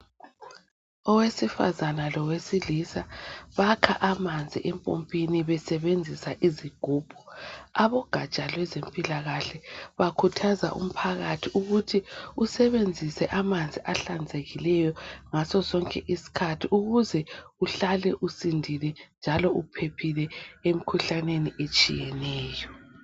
Owesifazana lowesilisa bakha amanzi empompini besebenzisa izigubhu abogatsha lwezempilakahle bakhuthaza umphakathi ukuthi asebenzise amanzi ahlanzekileyo ngaso sonke isikhathi ukuze uhlale usindile njalo uphephile emkhuhlaneni etshiyeneyo.